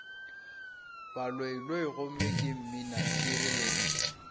baloiloi gomme ke mminaphiri le